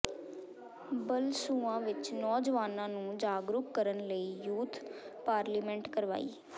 ਬਲਸੂਆਂ ਵਿਚ ਨੌਜਵਾਨਾਂ ਨੂੰ ਜਾਗਰੂਕ ਕਰਨ ਲਈ ਯੂਥ ਪਾਰਲੀਮੈਂਟ ਕਰਵਾਈ